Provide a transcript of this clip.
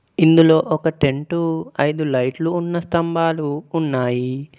ఇందులో ఒక ten to ఐదు లైట్లు ఉన్న స్థంభాలు ఉన్నాయి.